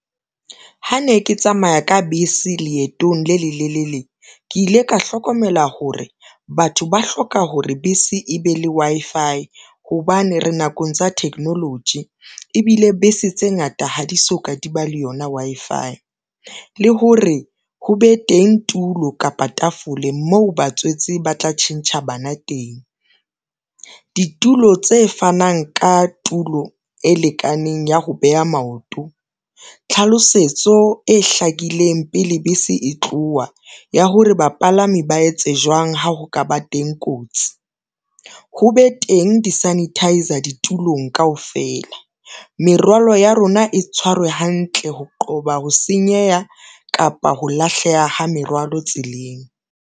Ha ne ke tsamaya ka bese leetong le le lelele ke ile ka hlokomela hore batho ba hloka hore bese e be le Wi-Fi hobane, re nakong tsa technology ebile bese tse ngata ha di soka, di ba le yona Wi-Fi. Le hore ho be teng tulo kapa tafole moo batswetsi ba tla tjhentjha bana teng, ditulo tse fanang ka tulo e lekaneng ya ho beha maoto, tlhalosetso e hlakileng pele bese e tloha ya hore bapalami ba etse jwang ha ho ka ba teng kotsi, ho be teng di-sanitizer ditulong kaofela. Merwalo ya rona e tshwarwe hantle ho qoba ho senyeha kapa ho lahleha ha merwalo tseleng.